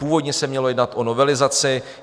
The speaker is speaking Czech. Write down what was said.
Původně se mělo jednat o novelizaci.